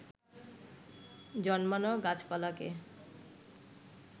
জন্মানো গাছপালাকে